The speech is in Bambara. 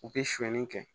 U bɛ sonyani kɛ